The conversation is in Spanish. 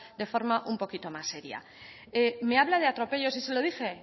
de forma un poquito más seria me habla de atropellos se lo dije